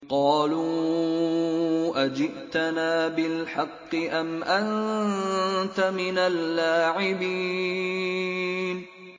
قَالُوا أَجِئْتَنَا بِالْحَقِّ أَمْ أَنتَ مِنَ اللَّاعِبِينَ